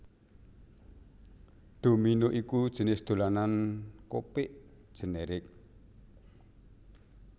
Domino iku jinis dolanan kopik generik